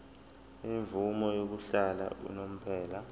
imvume yokuhlala unomphela